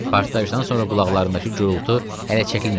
Partlayışdan sonra qulaqlarındakı gurultu hələ çəkilməmişdi.